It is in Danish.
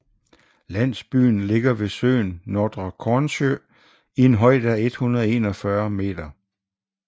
Landsbyen ligger ved søen Nordre Kornsjø i en højde af 141 moh